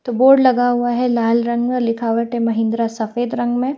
तो बोर्ड लगा हुआ है लाल रंगा लिखावट है महिंद्रा सफेद रंग में।